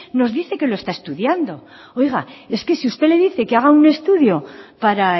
nos dice que lo está estudiando oiga es que si usted le dice que haga un estudio para